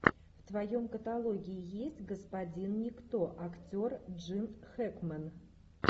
в твоем каталоге есть господин никто актер джин хэкмен